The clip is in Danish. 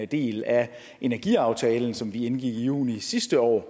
del af energiaftalen som vi indgik i juni sidste år